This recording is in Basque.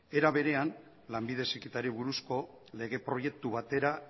era berean lanbide heziketari buruzko lege proiektu batera